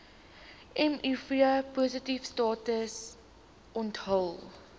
mivpositiewe status onthul